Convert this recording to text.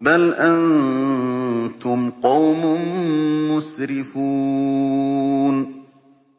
بَلْ أَنتُمْ قَوْمٌ مُّسْرِفُونَ